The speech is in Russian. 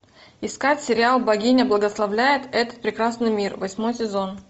искать сериал богиня благословляет этот прекрасный мир восьмой сезон